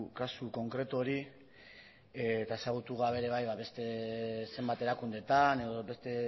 kasu konkretu hori eta ezagutu gabe ere bai beste zenbat erakundeetan edo beste